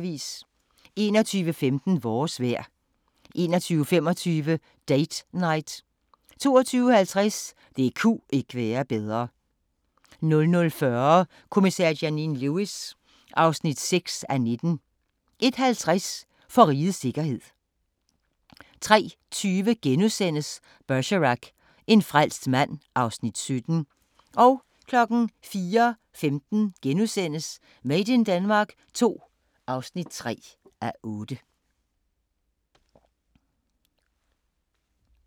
21:15: Vores vejr 21:25: Date Night 22:50: Det ku' ikke være bedre 00:40: Kommissær Janine Lewis (6:19) 01:50: For rigets sikkerhed 03:20: Bergerac: En frelst mand (Afs. 17)* 04:15: Made in Denmark II (3:8)*